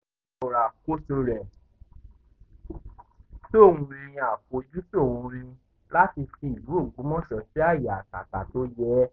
ó fi kún un pé ọlọ́run ló rán òun láti ṣe àtúnṣe ìlú um náà fún ìdàgbàsókè àti um ìlọsíwájú ìlú ọ̀hún